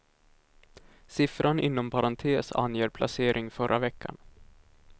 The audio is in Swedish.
Siffran inom parentes anger placering förra veckan.